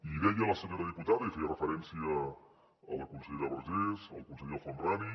i deia la senyora diputada i feia referència a la consellera vergés al conseller el homrani